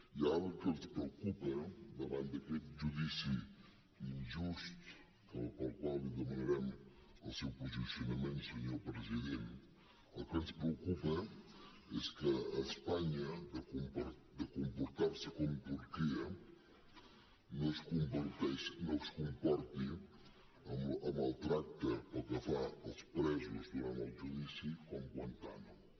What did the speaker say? i ara el que ens preocupa davant d’aquest judici injust pel qual li demanarem el seu posicionament senyor president és que espanya de comportar se com turquia no es comporti amb el tracte pel que fa als presos durant el judici com guantánamo